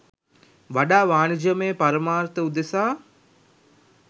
වඩා වාණිජමය පරමාර්ථ උදෙසා